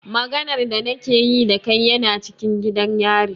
Maganar da na ke yi da kai yana cikin gidan yari.